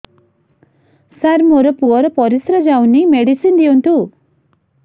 ସାର ମୋର ପୁଅର ପରିସ୍ରା ଯାଉନି ମେଡିସିନ ଦିଅନ୍ତୁ